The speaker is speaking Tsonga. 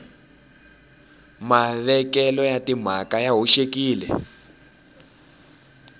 mavekelo ya timhaka ya hoxekile